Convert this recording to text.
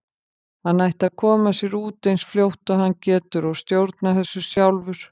Hann ætti að koma sér út eins fljótt og hann getur og stjórna þessu sjálfur.